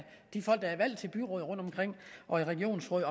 de folk der er valgt til byråd og regionsråd